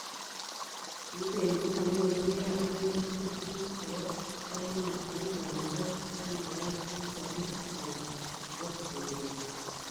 kukeny ko manyoru biikab emet tugul tuguk chebo kamanut cheuu bandek che mekat eng' sobet ng'wany nebo kwekeny